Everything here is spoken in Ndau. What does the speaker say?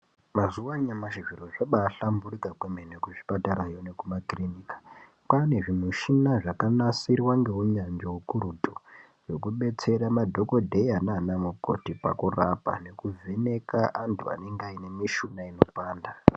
Mazuwa anyamashi zviro zvabahlamburika kwemene kuzvipatarayo nekumakirinika. Kwane zvimushina zvakanasirwa ngeunyanzvi ukurutu zvekubetsera madhokodheya nana mukoti pakurapa nekuvheneka antu anenge aine mishuna inopanda.